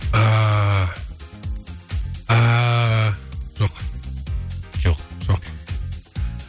жоқ жоқ жоқ